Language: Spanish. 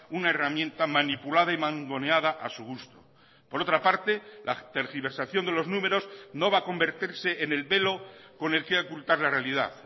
una herramienta manipulada y mangoneada a su gusto por otra parte la tergiversación de los números no va a convertirse en el velo con el que ocultar la realidad